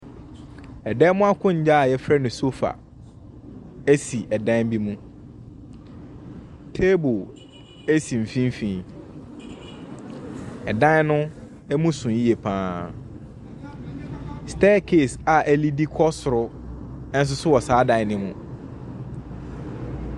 Ɛdan mu akonnwa a wɔfrɛ no sofa si dan bi mu. Table si mfimfin. Dan no mu so yie pa ara. Staircase a ɛliidi kɔ soro nso so wɔ saa dan no mu.